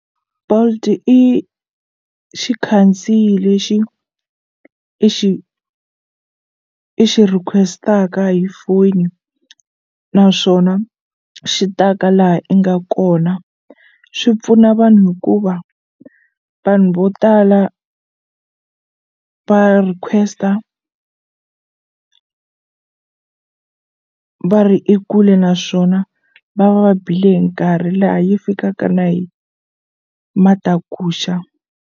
Bolt i xikhandziyi lexi i xi i xi request-aka hi foni naswona xi ta ka laha i nga kona swi pfuna vanhu hikuva vanhu vo tala va request-a va ri ekule naswona va va va bile hi nkarhi laha yi fikaka na hi matakuxa.